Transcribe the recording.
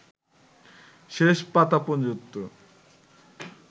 শেষ পাতা পর্যন্ত